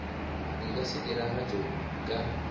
di ka se diragatšwe ka